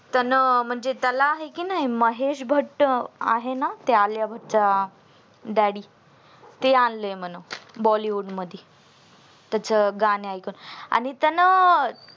त्यांना म्हणजे त्याला आहे की नाही महेश भट्ट आहे ना ते आलिया भट्ट चे daddy ते आणले म्हणा बॉलीवुड मधी त्याचे गाणी ऐकत आणि त्यांना